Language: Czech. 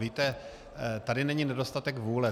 Víte, tady není nedostatek vůle.